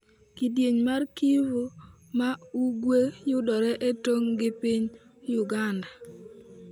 Kidieny mar Kivu ma Ugwe yudore e tong' gi piny Uganda.